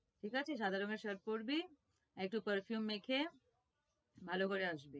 ঠিক আছে? সাদা রঙের shirt পড়বি, একটু perfume মেখে ভালো করে আসবি।